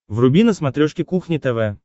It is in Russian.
вруби на смотрешке кухня тв